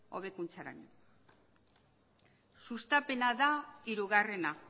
hobekuntzarako sustapena da hirugarrena